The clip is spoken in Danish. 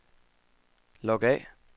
log af